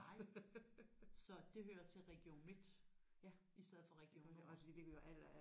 Nej. Så det hører til Region Midt i stedet for Region Nord?